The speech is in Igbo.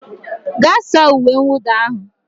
Gaa saa uwe mwụda ahụ